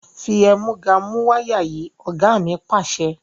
Fi ẹ̀múga mú wáyà yìí! Ọ̀gá mi Pàṣẹ.